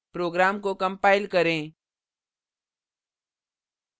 program को compile करें